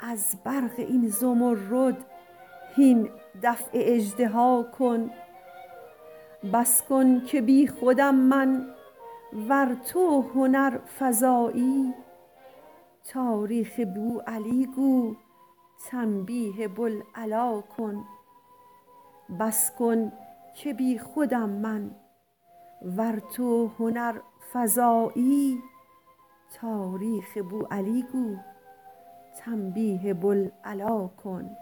از برق این زمرد هین دفع اژدها کن بس کن که بی خودم من ور تو هنرفزایی تاریخ بوعلی گو تنبیه بوالعلا کن